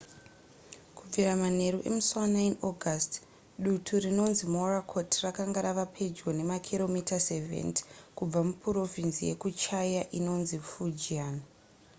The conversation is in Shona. kubvira manheru emusi wa9 august dutu rinonzi morakot rakanga rava pedyo nemakiromita 70 kubva mupurovhinzi yekuchia inonzi fujian